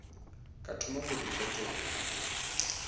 ka thoma go di fetola